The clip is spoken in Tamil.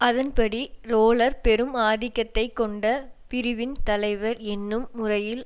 அதன் படி ரேலர் பெரும் ஆதிக்கத்தை கொண்ட பிரிவின் தலைவர் என்னும் முறையில்